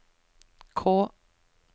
K